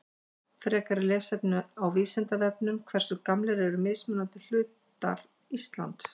Frekara lesefni á Vísindavefnum Hversu gamlir eru mismunandi hlutar Íslands?